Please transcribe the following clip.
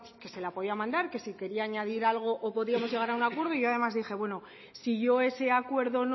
que se la podía mandar que si quería añadir algo o podíamos llegar a un acuerdo y yo además dije bueno si yo ese acuerdo